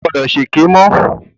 O ò gbọdọ̀ ṣe èké mọ́.